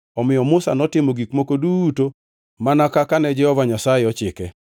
Omiyo Musa notimo gik moko duto mana kaka ne Jehova Nyasaye ochike.